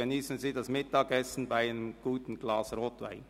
geniessen Sie das Mittagessen zu einem guten Glas Rotwein.